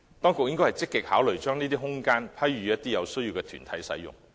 當局應積極考慮把這些空間批予有需要的團體使用。